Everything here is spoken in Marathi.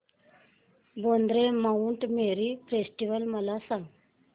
वांद्रे माऊंट मेरी फेस्टिवल मला सांग